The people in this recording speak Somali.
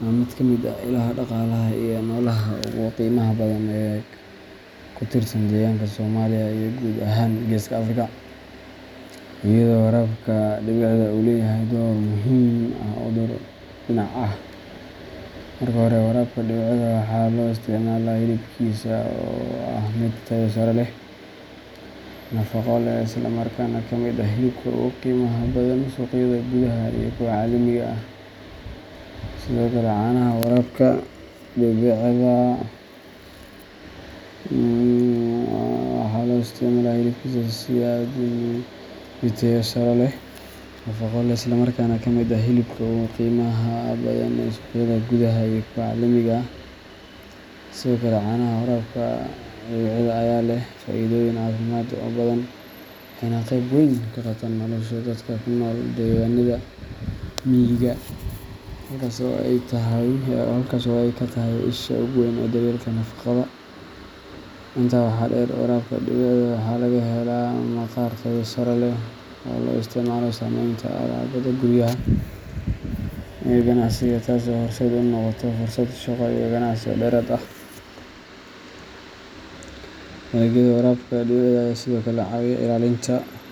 waa mid ka mid ah ilaha dhaqaalaha iyo noolaha ugu qiimaha badan ee ku tiirsan deegaanka Soomaaliya iyo guud ahaan Geeska Afrika, iyadoo warabka dhibicda uu leeyahay door muhiim ah oo dhowr dhinac ah. Marka hore, warabka dhibicda waxaa loo isticmaalaa hilibkiisa oo ah mid tayo sare leh, nafaqo leh, isla markaana ka mid ah hilibka ugu qiimaha badan suuqyada gudaha iyo kuwa caalamiga ah. Sidoo kale, caanaha warabka dhibicda ayaa leh faa’iidooyin caafimaad oo badan, waxayna qayb weyn ka qaataan nolosha dadka ku nool deegaanada miyiga, halkaas oo ay ka tahay isha ugu weyn ee daryeelka nafaqada. Intaa waxaa dheer, warabka dhibicda waxaa laga helaa maqaar tayo sare leh oo loo isticmaalo samaynta alaabada guryaha iyo ganacsiga, taas oo horseed u noqota fursado shaqo iyo ganacsi oo dheeraad ah. Dalagyada warabka dhibicda ayaa sidoo kale ka caawiya ilaalinta.